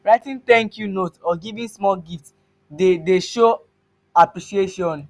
writing 'thank you' note or giving small gift dey dey show appreciation.